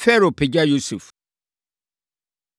Farao Pagya Yosef